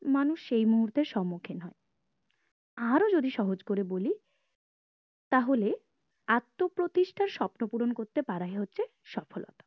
মানুষ সেই মুহূর্তের সম্মুখীন হয় আরো যদি সহজ করে বলি তাহলে আত্মপ্রতিষ্ঠার স্বপ্নপূরণ করতে পারায় হচ্ছে সফলতা